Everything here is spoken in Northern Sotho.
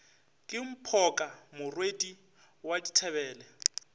ke mphoka morwadi wa dithebele